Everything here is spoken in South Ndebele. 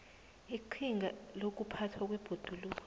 iqhinga lokuphathwa kwebhoduluko